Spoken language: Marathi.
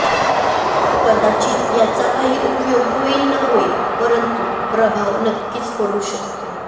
कदाचित याचा काही उपयोग होईल न होईल परंतु प्रभाव नक्कीच पडू शकतो